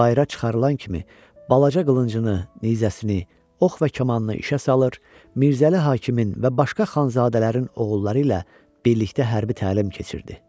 Bayıra çıxarılan kimi balaca qılıncını, nizəsini, ox və kamanını işə salır, Mirzəli Hakimin və başqa xanzadələrin oğulları ilə birlikdə hərbi təlim keçirdi.